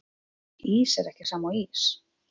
Ís er ekki sama og ís